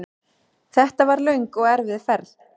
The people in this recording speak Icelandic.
Þetta var löng og erfið ferð.